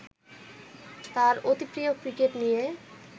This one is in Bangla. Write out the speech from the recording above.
তাঁর অতিপ্রিয় ক্রিকেট নিয়ে